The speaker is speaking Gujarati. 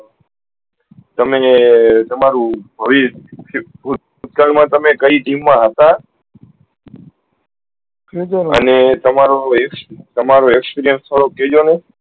તમે તમારુ ભવી કઈ team મા હતા અને તમારો experience થોડો કેહજો ને